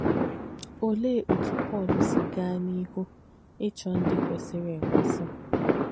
Òlēē òtù Pọ́l sì gaā n’íhū n’ìchọ̀ ndí kwèsìrī èkwēsì?